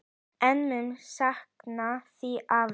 Ég mun sakna þín, afi.